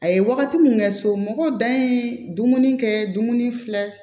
A ye wagati min kɛ somɔgɔw dan ye dumuni kɛ dumuni filɛ